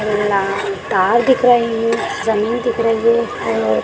ना तार दिख रही है जमीन दिख रही है और--